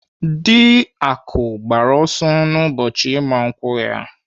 Dị Akụ gbara ọsọ n'ụbọchị ịgba nkwụ ha.